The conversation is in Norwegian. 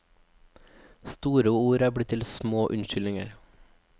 Store ord er blitt til små unnskyldninger.